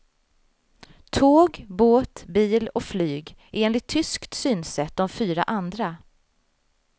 Tåg, båt, bil och flyg är enligt tyskt synsätt de fyra andra.